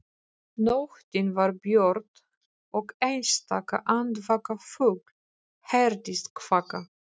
Nóttin var björt og einstaka andvaka fugl heyrðist kvaka.